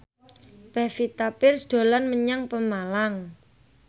Pevita Pearce dolan menyang Pemalang